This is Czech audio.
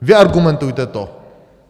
Vyargumentujte to.